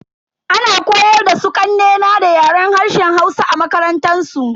Ana koyar da su kanne na da Yaren harshen Hausa a makarantansu.